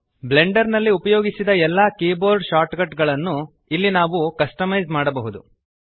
Blender ನಲ್ಲಿ ಉಪಯೋಗಿಸಿದ ಎಲ್ಲ ಕೀಬೋರ್ಡ್ ಶಾರ್ಟ್ಕಟ್ ಗಳನ್ನು ಇಲ್ಲಿ ನಾವು ಕಸ್ಟಮೈಜ್ ಮಾಡಬಹುದು